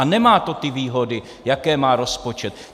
A nemá to ty výhody, jaké má rozpočet.